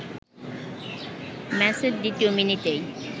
ম্যাচের দ্বিতীয় মিনিটেই